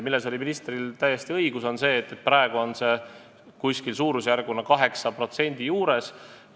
Ministril oli täiesti õigus, et praegu on see umbes 8% juures.